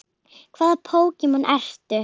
Hvaða Pokémon ertu?